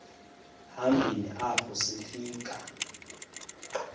hambeni apho sifika